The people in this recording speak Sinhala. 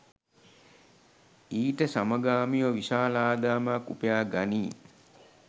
ඊට සමගාමීව විශාල ආදායමක් උපයාගනී.